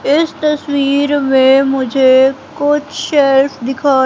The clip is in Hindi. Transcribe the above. इस तस्वीर में मुझे कुछ शेल्फ दिखा--